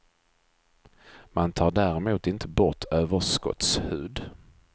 Man tar däremot inte bort överskottshud.